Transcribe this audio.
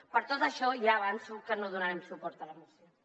per tot això ja avanço que no donarem suport a la moció